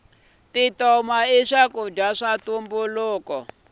tintoma i swakudya swa ntumbuluko